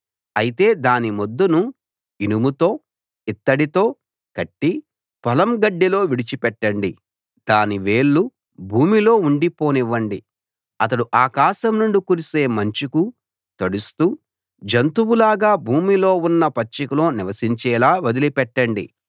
అయితే దాని మొద్దును ఇనుముతో ఇత్తడితో కట్టి పొలం గడ్డిలో విడిచిపెట్టండి దాని వేళ్ళు భూమిలో ఉండిపోనివ్వండి అతడు ఆకాశం నుండి కురిసే మంచుకు తడుస్తూ జంతువులాగా భూమిలో ఉన్న పచ్చికలో నివసించేలా వదిలిపెట్టండి